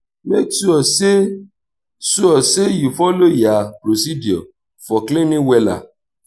mek sure say sure say yu follow yur procedure for cleaning wella